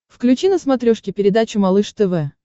включи на смотрешке передачу малыш тв